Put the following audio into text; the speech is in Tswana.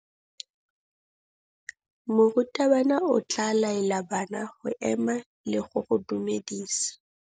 Morutabana o tla laela bana go ema le go go dumedisa.